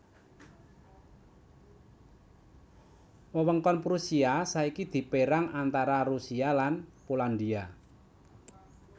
Wewengkon Prusia saiki dipérang antara Rusia lan Polandia